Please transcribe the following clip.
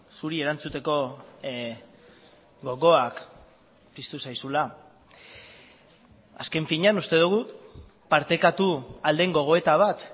zuri erantzuteko gogoak piztu zaizula azken finean uste dugu partekatu ahal den gogoeta bat